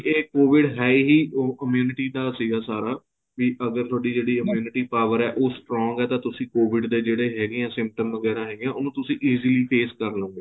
ਇਹ COVID ਹੈ ਹੀ ਉਹ immunity ਦਾ ਸੀਗਾ ਸਾਰਾ ਵੀ ਅਗਰ ਤੁਹਾਡੀ ਜਿਹੜੀ immunity power ਏ ਉਹ strong ਏ ਤਾਂ ਤੁਸੀਂ COVID ਦੇ ਜਿਹੜੇ ਹੈਗੇ ਏ symptom ਵਗੈਰਾ ਹੈਗੇ ਏ ਉਹਨੂੰ ਤੁਸੀਂ easily face ਕਰ ਲਵੋਂਗੇ